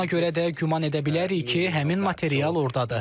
Buna görə də güman edə bilərik ki, həmin material ordadır.